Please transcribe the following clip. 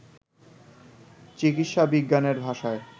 চিকিৎসাবিজ্ঞানের ভাষায়